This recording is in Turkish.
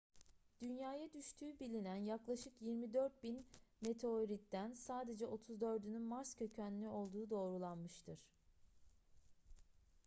dünyaya düştüğü bilinen yaklaşık 24.000 meteoritten sadece 34'ünün mars kökenli olduğu doğrulanmıştır